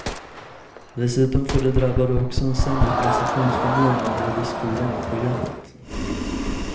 Dessutom får de drabbade också en sämre prestationsförmåga både i skolan och på jobbet.